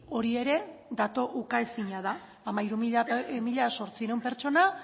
hori ere datu ukaezina da hamairu mila zortziehun pertsona